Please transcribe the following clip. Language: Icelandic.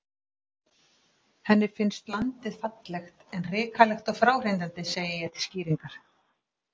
Henni finnst landið fallegt, en hrikalegt og fráhrindandi, segi ég til skýringar.